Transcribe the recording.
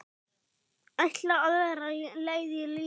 Ætlaði aðra leið í lífinu.